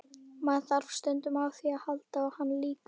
Maður þarf stundum á því að halda og hann líka.